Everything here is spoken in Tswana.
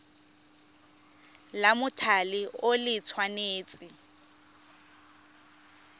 la mothale o le tshwanetse